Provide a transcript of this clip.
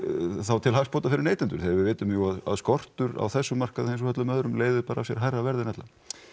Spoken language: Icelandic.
þá til hagsmuna fyrir neytendur við vitum jú að skortur á þessum markaði eins og öllum öðrum leiðir bara af sér hærra verð en ella